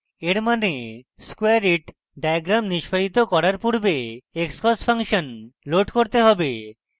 এর means squareit diagram নিস্পাদিত করার পূর্বে আমাদের xcos ফাংশন load করতে হবে